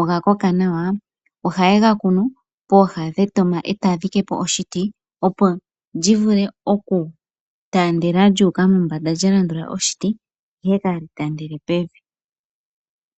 ogakoka nawa, ohaye gakunu pooha dhetoma etaya dhike po oshiti opo li vule okutaandela lyuuka mombanda lyalandula oshiti, ihe kaa li taandele pevi.